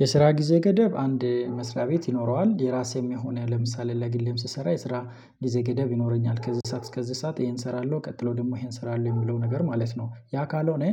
የስራ ጊዜ ገደብ አንድ መስሪያ ቤት ይኖረዋል የራሴም የሆነ ለምሳሌ ለግልህም ስሰራ የስራ እንደዚህ ገደብ ይኖረኛል። ከዚህ ሰዓት እስከዚህ ሰዓት ይሄን እሰራለሁ ቀጥሎ ደግሞ ይሄን እሰራለሁ የሚለው ነገር ማለት ነው። ያ ካልሆነ